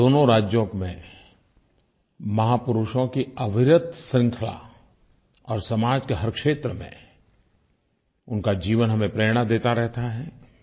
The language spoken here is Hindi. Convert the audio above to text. और दोनों राज्यों में महापुरुषों की अविरत श्रंखला और समाज के हर क्षेत्र में उनका जीवन हमें प्रेरणा देता रहता है